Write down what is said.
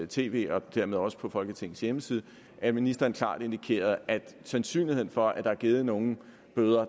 tv og dermed også på folketingets hjemmeside at ministeren klart indikerede at sandsynligheden for at der er givet nogle bøder